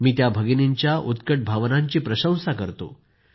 मी त्या भगिनींच्या उत्कट भावनांची प्रशंसा करतो